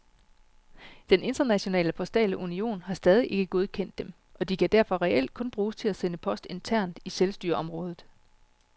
Den internationale postale union har stadig ikke godkendt dem, og de kan derfor reelt kun bruges til at sende post internt i selvstyreområdet.